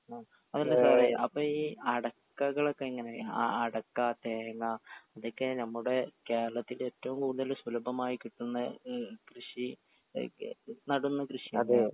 ആ അല്ല സാറേ അപ്പൊ ഈ അടക്കകളൊക്കെ എങ്ങനെ ആ അടക്കാ തേങ്ങാ ഇതൊക്കെ നമ്മുടേ കേരളത്തിന്റെ ഏറ്റോം കൂടുതല് സുലഭമായി കിട്ടുന്ന ഏ കൃഷി ഒക്കെ നടുന്ന കൃഷി .